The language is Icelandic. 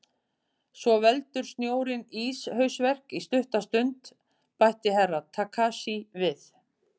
Svo veldur snjórinn íshausverk í stutta stund, bætti Herra Takashi við.